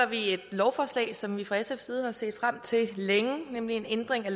vi et lovforslag som vi fra sfs side har set frem til længe om en ændring af